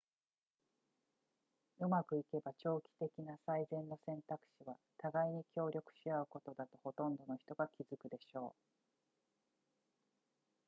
うまくいけば長期的な最善の選択肢は互いに協力し合うことだとほとんどの人が気づくでしょう